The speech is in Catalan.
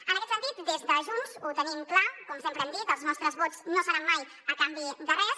en aquest sentit des de junts ho tenim clar com sempre hem dit els nostres vots no seran mai a canvi de res